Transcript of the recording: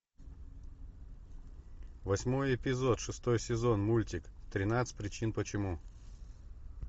восьмой эпизод шестой сезон мультик тринадцать причин почему